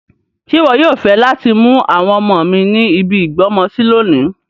Ṣe wọ yoo fẹ lati mu àwọn ọmọ mi ni ibi ìgbọ́mọsi lonìí